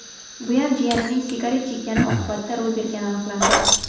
Buyam jiyanining sigaret chekkani oqibatida ro‘y bergani aniqlandi.